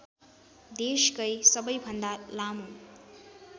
देशकै सबैभन्दा लामो